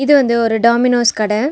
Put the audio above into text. இது வந்து ஒரு டாமினோஸ் கட.